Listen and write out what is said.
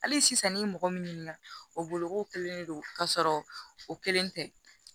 Hali sisan ni mɔgɔ min ɲininka o bolo ko kelen de don k'a sɔrɔ o kelen tɛ